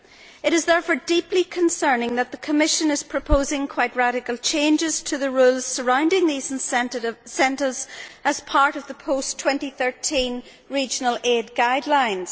It is, therefore, deeply concerning that the Commission is proposing quite radical changes to the rules surrounding these incentives, as part of the post 2013 regional aid guidelines.